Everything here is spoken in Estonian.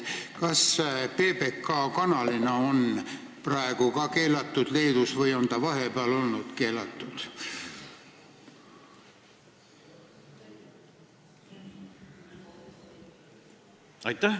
Kas te oskate öelda, kas PBK kanalina on ka praegu Leedus keelatud või on ta vahepeal olnud keelatud?